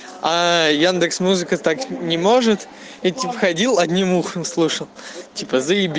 а яндекс музыка так не может этим ходил одним ухом слышу тебя